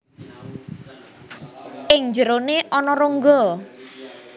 Ing njerone ana rongga